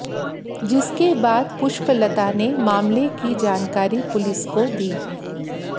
जिसके बाद पुष्पलता ने मामले की जानकारी पुलिस को दी